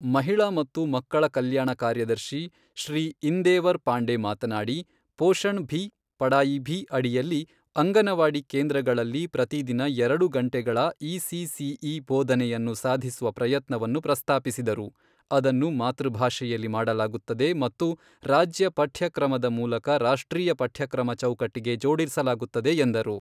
ಮಹಿಳಾ ಮತ್ತು ಮಕ್ಕಳ ಕಲ್ಯಾಣ ಕಾರ್ಯದರ್ಶಿ, ಶ್ರೀ ಇಂದೇವರ್ ಪಾಂಡೆ ಮಾತನಾಡಿ, ಪೋಷಣ್ ಭಿ, ಪಢಾಯಿ ಭಿ ಅಡಿಯಲ್ಲಿ ಅಂಗನವಾಡಿ ಕೇಂದ್ರಗಳಲ್ಲಿ ಪ್ರತಿದಿನ ಎರಡು ಗಂಟೆಗಳ ಇಸಿಸಿಇ ಬೋಧನೆಯನ್ನು ಸಾಧಿಸುವ ಪ್ರಯತ್ನವನ್ನು ಪ್ರಸ್ತಾಪಿಸಿದರು, ಅದನ್ನು ಮಾತೃಭಾಷೆಯಲ್ಲಿ ಮಾಡಲಾಗುತ್ತದೆ ಮತ್ತು ರಾಜ್ಯ ಪಠ್ಯಕ್ರಮದ ಮೂಲಕ ರಾಷ್ಟ್ರೀಯ ಪಠ್ಯಕ್ರಮ ಚೌಕಟ್ಟಿಗೆ ಜೋಡಿಸಲಾಗುತ್ತದೆ ಎಂದರು.